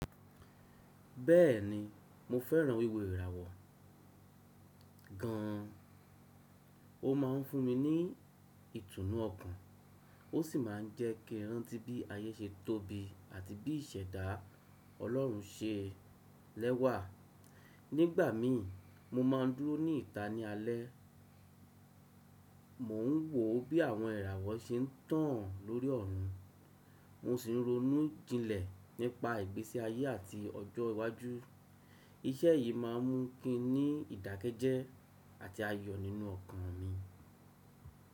Bẹ́ẹ̀ni, mo fẹ́ràn wíwo ìràwọ̀ gan. Ó máa ń fún mi ní ìtùnú ọkàn ó sì máa ń jẹ́ kí ń rántí bí ayé ṣe tóbi àti bí ìṣẹ̀dá Ọlọ́run se lẹ́wà. Nígbà mi, mo máa ń dúró ní ìta ní alẹ́, mò ń wò bí àwọn iràwọ̀ ṣe ń tàn lórí ọ̀run, mo sì ń ronú jinlẹ̀ nípa ìgbésí ayé àti ọjọ́ iwájú. Iṣẹ́ yìí máa ń mú kin ní ìdákẹ́jẹ́ àti ayọ̀ nínú ọkàn mi.